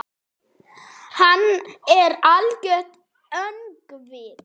Hann er algert öngvit!